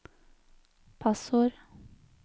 passord